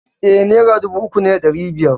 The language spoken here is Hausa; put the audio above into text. E, naira dubu uku da ɗari biyar ne.